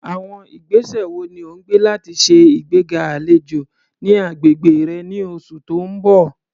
Àwọn ìgbésẹ̀ wo ni o máa gbé láti ṣe ìgbéga àlejò ní agbègbè rẹ ní oṣù tó ń bọ̀?